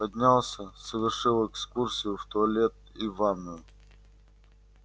поднялся совершил экскурсию в туалет и ванную